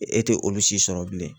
E te olu si sɔrɔ bilen